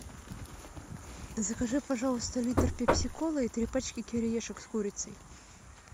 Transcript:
закажи пожалуйста литр пепси колы и три пачки кириешек с курицей